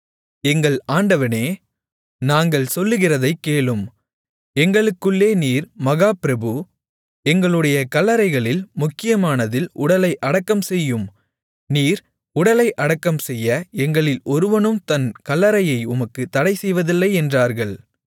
எங்கள் ஆண்டவனே நாங்கள் சொல்லுகிறதைக் கேளும் எங்களுக்குள்ளே நீர் மகா பிரபு எங்களுடைய கல்லறைகளில் முக்கியமானதில் உடலை அடக்கம் செய்யும் நீர் உடலை அடக்கம்செய்ய எங்களில் ஒருவனும் தன் கல்லறையை உமக்குத் தடைசெய்வதில்லை என்றார்கள்